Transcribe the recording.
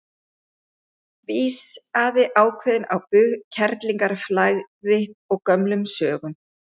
Vísaði ákveðin á bug kerlingarflagði og gömlum sögum.